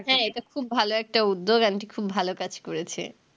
হ্যাঁ এটা খুব ভালো একটা উদ্যেগ aunty খুব ভালো কাজ করেছে